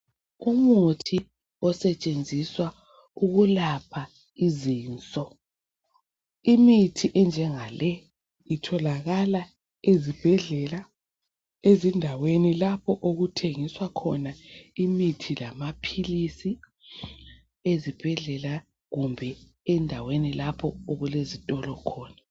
Umuthi osetshenziswa ukulapha izinso. Imithi enjenga le itholakala ezibhedlala, ezindaweni lapho okuthengiswa imithi lamaphilizi ezibhedlela kumbe endaweni lapho okulezitolo khona.